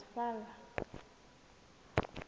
transvala